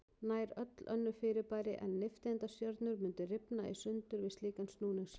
Nær öll önnur fyrirbæri en nifteindastjörnur mundu rifna í sundur við slíkan snúningshraða.